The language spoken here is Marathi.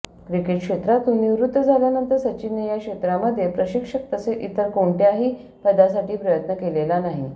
क्रिकेट क्षेत्रातून निवृत्त झाल्यानंतर सचिनने या क्षेत्रामध्ये प्रशिक्षक तसेच इतर कोणत्याही पदासाठी प्रयत्न केलेला नाही